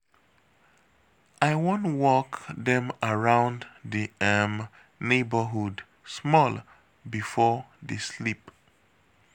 I wan walk dem around the um neighborhood small before dey sleep